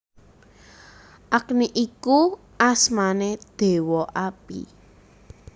Agni iku asmané Déwa Api